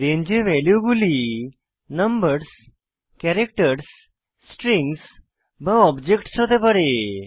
range এ ভ্যালুগুলি numbers characters strings বা অবজেক্টস হতে পারে